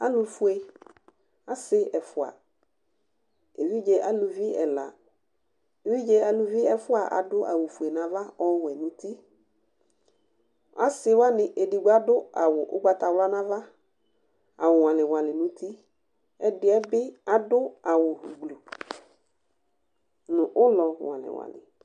Alʋ fue, asɩ ɛfʋa, evidze aluvi ɛla, evidze aluvi ɛfʋa adʋ awʋ fue nava ɔwɛ nʋ utiAsɩ wanɩ edigbo adʋ awʋ ʋgbatawla nava, awʋ ŋɔalɩŋɔalɩ nʋ utiƐdɩɛ bɩ adʋ awʋ gbluu nʋ ʋlɔ ŋɔalɩŋɔalɩ